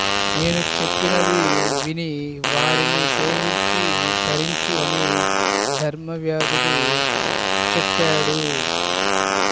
నేను చెప్పినది విని వారిని సేవించి తరించు అని ధర్మవ్యాధుడు చెప్పాడు